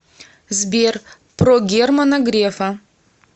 сбер про германа грефа